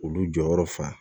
Olu jɔyɔrɔ fan